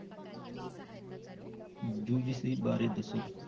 UGC ਬਾਰੇ ਦੱਸੋ।